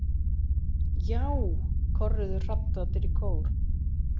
Já, korruðu hrafnarnir í kór.